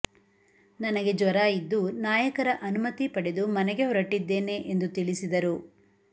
ನನಗೆ ಜ್ವರ ಇದ್ದು ನಾಯಕರ ಅನುಮತಿ ಪಡೆದು ಮನೆಗೆ ಹೊರಟಿದ್ದೇನೆ ಎಂದು ತಿಳಿಸಿದರು